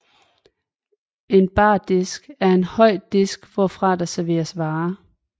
En bardisk er en høj disk hvorfra der serveres varer